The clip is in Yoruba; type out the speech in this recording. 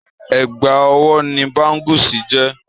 Ègbà ọwọ́ ni báńgúsì jẹ́.